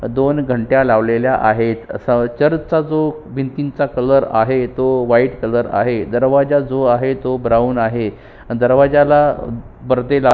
दोन घंटया लावलेल्या आहे अस चर्च चा जो भिंतीचा जो कलर आहे तो व्हाइट कलर आहे दरवाजा जो आहे तो ब्राऊन आहे आणि दरवाजाला परदे --